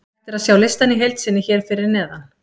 Hægt er að sjá listann í heild sinni hér fyrir neðan: